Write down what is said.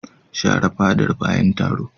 Shafa fadar bayan taro.